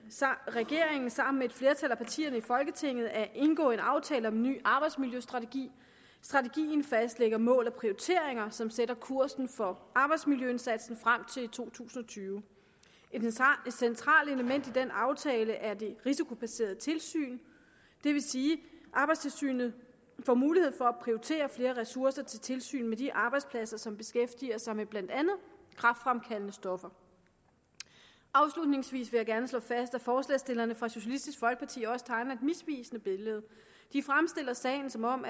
regeringen sammen med et flertal af partierne i folketinget at indgå en aftale om en ny arbejdsmiljøstrategi strategien fastlægger mål og prioriteringer som sætter kursen for arbejdsmiljøindsatsen frem til to tusind og tyve et centralt element i den aftale er det risikobaserede tilsyn det vil sige at arbejdstilsynet får mulighed for at prioritere flere ressourcer til tilsyn med de arbejdspladser som beskæftiger sig med blandt andet kræftfremkaldende stoffer afslutningsvis vil jeg gerne slå fast at forslagsstillerne fra socialistisk folkeparti også tegner et misvisende billede de fremstiller sagen som om